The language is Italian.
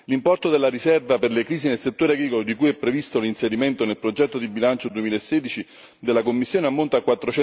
L'importo della riserva per le crisi nel settore agricolo, di cui è previsto l'inserimento nel progetto di bilancio 2016 della Commissione, ammonta a